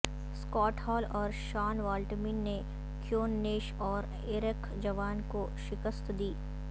Scot Hall اور Shaun Waltman نے Kevin Nash اور ایرک جوان کو شکست دی